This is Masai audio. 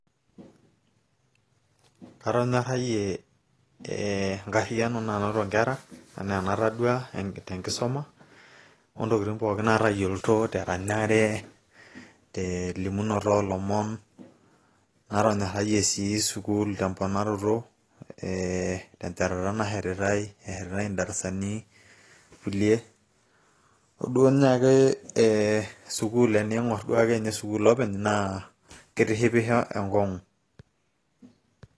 atonyorayie enkariyiano nanotoo nkera anaa enatoduaa te nkisuma,o ntokitin pooki naatayioloito te ranyare, telimunoto oolomon, natonyorayie sii sukuul te mponaroto, ee tenchatata nashetititae, eetae idarasanikulie, ore duoo naaji tening'or sukuul openy naa kitishipisho enkong'u.